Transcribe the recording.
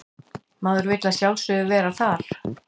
Maður vill að sjálfsögðu vera þar